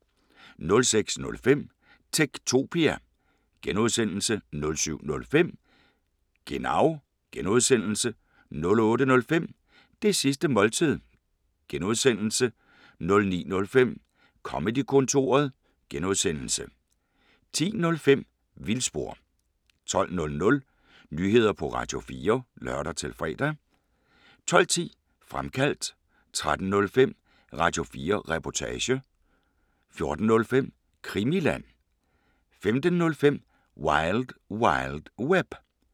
06:05: Techtopia (G) 07:05: Genau (G) 08:05: Det sidste måltid (G) 09:05: Comedy-kontoret (G) 10:05: Vildspor 12:00: Nyheder på Radio4 (lør-fre) 12:10: Fremkaldt 13:05: Radio4 Reportage 14:05: Krimiland 15:05: Wild Wild Web